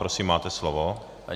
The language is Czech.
Prosím, máte slovo.